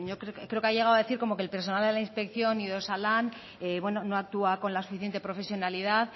yo creo que ha llegado a decir que el personal de la inspección y de osalan no actúa con la suficiente profesionalidad